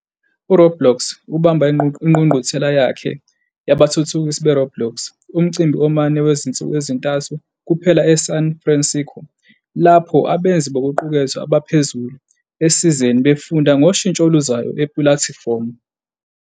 uRoblox ubamba ingqungquthela yakhe yabathuthukisi beRoblox, umcimbi omane wezinsuku ezintathu kuphela eSan Francisco lapho abenzi bokuqukethwe abaphezulu esizeni befunda ngoshintsho oluzayo epulatifomu.